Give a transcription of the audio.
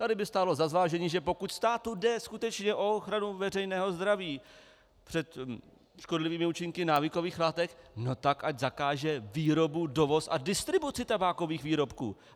Tady by stálo za zvážení, že pokud státu jde skutečně o ochranu veřejného zdraví před škodlivými účinky návykových látek, no tak ať zakáže výrobu, dovoz a distribuci tabákových výrobků.